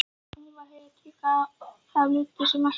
Hún var heit, en gaf lítið sem ekkert vatn.